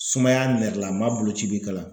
Sumaya nɛrɛlama boloci be kalan